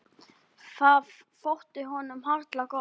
Það þótti honum harla gott.